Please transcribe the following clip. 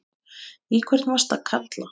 Í hvern varstu að kalla?